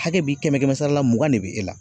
Hakɛ bi kɛmɛ-kɛmɛ sara la mugan de be e la